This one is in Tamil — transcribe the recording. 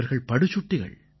இவர்கள் படுசுட்டிகள்